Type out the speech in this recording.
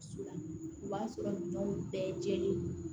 Su la o b'a sɔrɔ minɛnw bɛɛ jɛlen ye